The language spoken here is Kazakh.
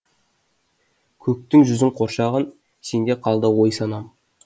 көктің жүзін қоршаған сенде қалды ой санам